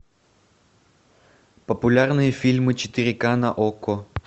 популярные фильмы четыре к на окко